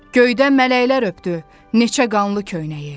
Göydə mələklər öpdü neçə qanlı köynəyi.